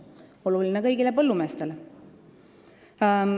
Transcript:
See on oluline kõigile põllumeestele.